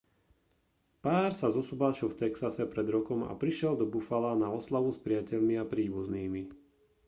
pár sa zosobášil v texase pred rokom a prišiel do buffala na oslavu s priateľmi a príbuznými